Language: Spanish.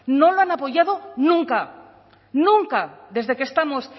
no la han apoyado nunca nunca desde que estamos